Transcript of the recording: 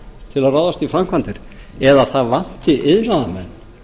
til að ráðast í framkvæmdir eða það vanti iðnaðarmenn